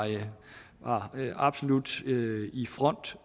absolut i front